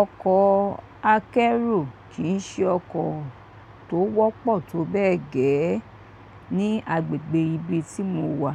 Ọkọ̀ akẹ́rù kì í ṣe ọkọ̀ tó wọ́pọ̀ tó bẹ́ẹ̀ gẹ́ ní agbègbè ibi tí mo wà.